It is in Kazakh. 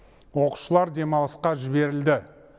оқушылар демалысқа жіберілді